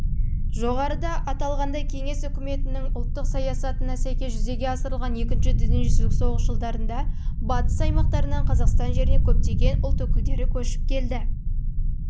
жоғарыда аталғандай кеңес үкіметінің ұлттық саясатына сәйкес жүзеге асырылған екінші дүниежүзілік соғыс жылдарында батыс аймақтарынан қазақстан